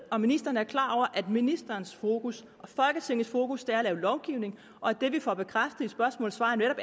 om ministeren er klar over at ministerens fokus og folketingets fokus er at lave lovgivning og at det vi får bekræftet i svarene